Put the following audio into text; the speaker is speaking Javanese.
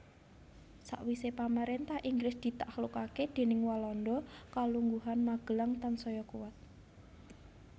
Sawisé pamaréntah Inggris ditaklukaké déning Walanda kalungguhan Magelang tansaya kuwat